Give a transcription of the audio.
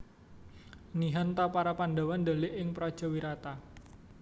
Nihan ta para Pandhawa ndhelik ing praja Wirata